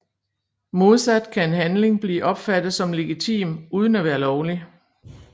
Modsat kan en handling blive opfattet som legitim uden at være lovlig